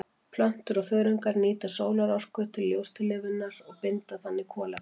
Plöntur og þörungar nýta sólarorka til ljóstillífunar og binda þannig kolefni.